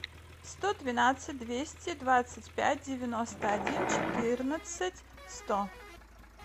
сто двенадцать двести двадцать пять девяносто один четырнадцать сто